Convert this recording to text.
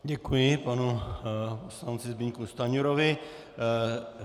Děkuji panu poslanci Zbyňku Stanjurovi.